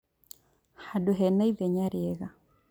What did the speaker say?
Handũ hena ithenya rĩega